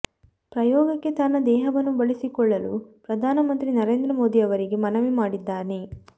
ಪ್ರಯೋಗಕ್ಕೆ ತನ್ನ ದೇಹವನ್ನು ಬಳಸಿಕೊಳ್ಳಲು ಪ್ರಧಾನ ಮಂತ್ರಿ ನರೇಂದ್ರ ಮೋದಿ ಅವರಿಗೆ ಮನವಿ ಮಾಡಿದ್ದಾನೆ